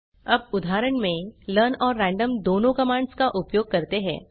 अब उदाहरण में लर्न और रैंडम दोनों कमांड्स का उपयोग करते हैं